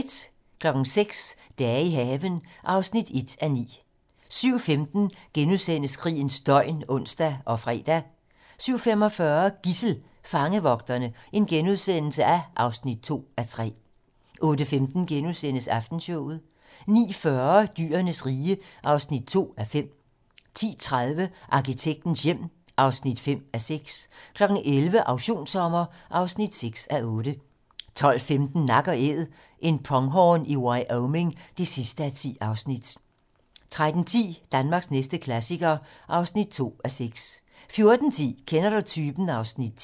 06:00: Dage i haven (1:9) 07:15: Krigens døgn *(ons og fre) 07:45: Gidsel: Fangevogterne (2:3)* 08:15: Aftenshowet * 09:40: Dyrenes rige (2:5) 10:30: Arkitektens hjem (5:6) 11:00: Auktionssommer (6:8) 12:15: Nak & Æd - en pronghorn i Wyoming (10:10) 13:10: Danmarks næste klassiker (2:6) 14:10: Kender du typen? (Afs. 10)